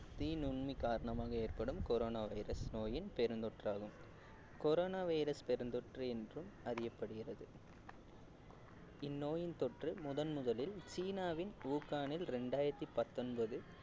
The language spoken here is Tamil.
the நுண்மி காரணமாக ஏற்படும் corona virus நோயின் பெரும் தொற்றாகும் corona virus பெருந்தொற்று என்றும் அறியப்படுகிறது இந்நோயின் தொற்று முதன் முதலில் சீனாவின் உஹானில் இரண்டாயிரத்தி பத்தொன்பது